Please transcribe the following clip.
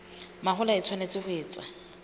mahola e tshwanetse ho etswa